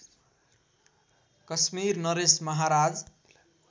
कश्मीर नरेश महाराज